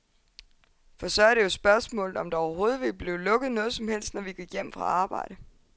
For så er det jo spørgsmålet, om der overhovedet ville blive lukket noget som helst, når vi gik hjem fra arbejde.